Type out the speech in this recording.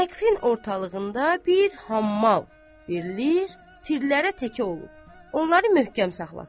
Səqfin ortalığında bir hammal verilir, tirlərə təkyə olub, onları möhkəm saxlasın.